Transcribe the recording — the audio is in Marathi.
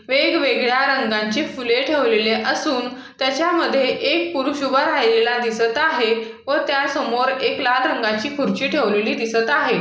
वेगवेगळ्या रंगांची फुले ठेवलेले असून त्याच्यामध्ये एक पुरुष उभा राहिलेला दिसत आहे व त्यासमोर एक लाल रंगाची खुर्ची ठेवलेली दिसत आहे.